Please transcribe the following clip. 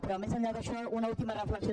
però més enllà d’això una última reflexió